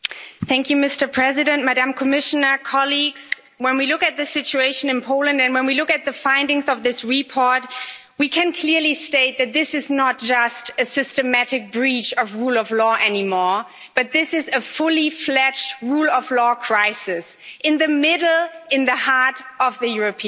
Mr President, when we look at the situation in Poland and when we look at the findings of this report, we can clearly state that this is not just a systematic breach of the rule of law anymore, but this is a fully fledged rule of law crisis, in the middle, in the heart, of the European Union.